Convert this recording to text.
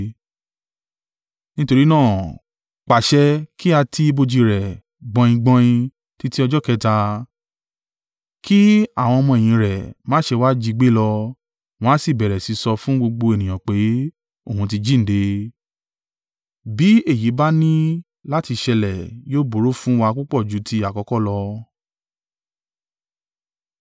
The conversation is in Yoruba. Nítorí náà, pàṣẹ kí a ti ibojì rẹ̀ gbọningbọnin títí ọjọ́ kẹta, kí àwọn ọmọ-ẹ̀yìn rẹ̀ má ṣe wá jí gbé lọ, wọn a sì bẹ̀rẹ̀ sí í sọ fún gbogbo ènìyàn pé, ‘Òun ti jíǹde,’ bí èyí bá ní láti ṣẹlẹ̀, yóò burú fún wa púpọ̀ ju ti àkọ́kọ́ lọ.”